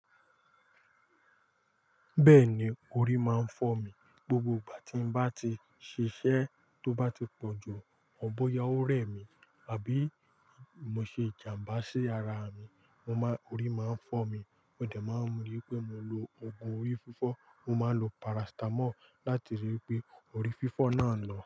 Bẹ́ẹ̀ni, orí máa ń fọ́ mi. Gbogbo ìgbà tí n bá ti ṣiṣẹ́ tó bá ti pọ̀jù, ọ̀bọ ya ó rẹ̀ mí, àbí mo ṣe ìjàmbá sí ara mi, mo má-- orí máa ń fọ́ mi. Ó dà máa ń rí pé mo lo ògùn orí fífọ́, mo máa ń lo parasitamọ́ọ̀ láti rí i pé orí fífọ́ náà lọ.